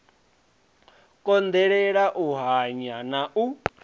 konḓelela u hanya na u